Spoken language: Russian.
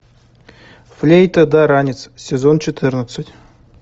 флейта да ранец сезон четырнадцать